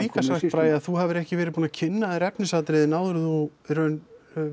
Bragi að þú hafir ekki verið búinn að kynna þér efnisatriðin áður en þú í raun